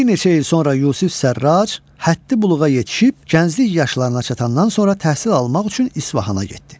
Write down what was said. Bir neçə il sonra Yusif Sərraç həddi büluğa yetişib, gənclik yaşlarına çatandan sonra təhsil almaq üçün İsfahana getdi.